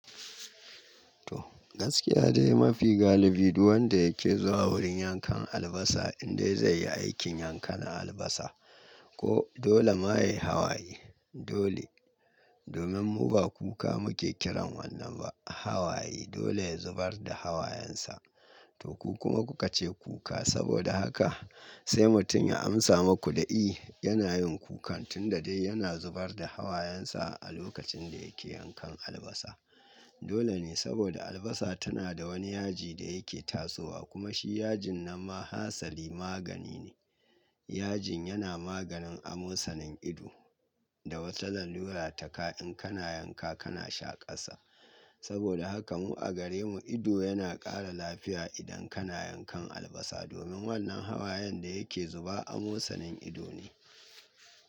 To gaskiya dai mafi galibi duk wanda yake zuwa wurin yankan albasa indai zai yi aikin yankan albasa ko dole ma ya yi hawaye dole. Domin mu ba kuka muke kiran wannan ba hawaye dole ya zubar da hawayensa. To ku kuma kuka ce kuka saboda haka sai mutum ya amsa muku da i. Yana yin kukan tunda dai yana zubar da hawayensa a lokacin da yake yankan albasa. Dole ne saboda albasa tana da wani yaji da yake tasowa kuma shi yajin na ma hasali magani ne. Yajin yana maganin amosanin ido da wata zan lura taka in kana yanka kana shaƙasa. Saboda haka mu a gare mu ido yana ƙara lafiya idan kana yankan albasa domin wannan hawayen da yake zuba amosanin ido ne.